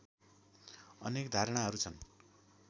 अनेक धारणाहरू छन्